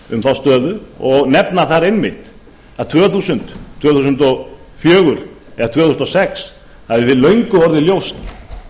um þá stöðu og nefna þar einmitt að tvö þúsund tvö þúsund og fjögur eða tvö þúsund og sex hafi löngu orðið ljóst